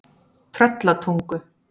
Tröllatungu